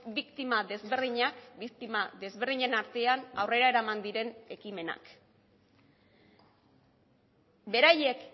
biktima desberdinak biktima desberdinen artean aurrera eraman diren ekimenak beraiek